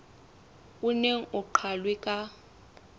o neng o qalwe ka